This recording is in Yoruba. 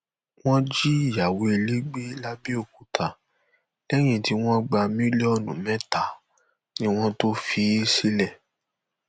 wọn jí ìyàwó ilé gbé làbẹọkútà lẹyìn tí wọn gba mílíọnù mẹta ni wọn tóó fi í sílẹ